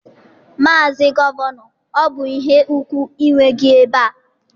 Maazị Gọvanọ, ọ bụ ihe ùgwù inwe gị ebe a.